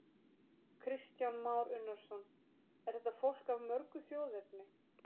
Kristján Már Unnarsson: Er þetta fólk af mörgu þjóðerni?